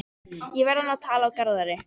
Ég verð að ná tali af Garðari.